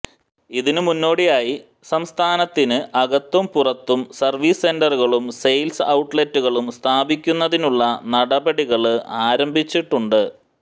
ഇതിന് മുന്നോടിയായി സംസ്ഥാനത്തിന് അപകത്തും പുറത്തും സര്വീസ് സെന്ററുകളും സെയില്സ് ഔട്ട്ലൈറ്റുകളും സ്ഥാപിക്കുന്നതിനുള്ള നടപടികള് ആരംഭിച്ചിട്ടുണ്ട്